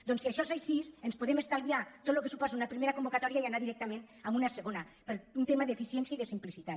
doncs si això és així ens podem estalviar tot el que suposa una primera convocatòria i anar directament a una segona per un tema d’eficiència i de simplicitat